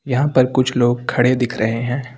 यहां पर कुछ लोग खड़े दिख रहे हैं।